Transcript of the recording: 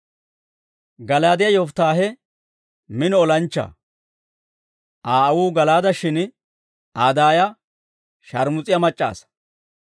Gala'aadiyaa Yofittaahe mino olanchchaa. Aa aawuu Gala'aade; shin Aa daaya sharmus'iyaa mac'c'a asaa.